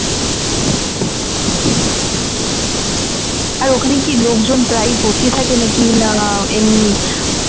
আর ওখানে কি লোকজন প্রায় ভর্তি থাকে নাকি না এমনি